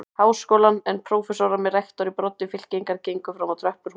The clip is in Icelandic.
Háskólann, en prófessorar með rektor í broddi fylkingar gengu fram á tröppur hússins.